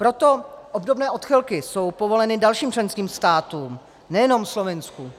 Proto obdobné odchylky jsou povoleny dalším členským státům, nejenom Slovinsku.